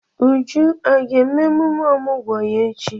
Uju aga eme emume ọmụgwọ ya echi?